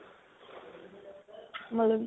ਮਤਲਬ